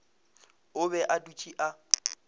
o be a dutše a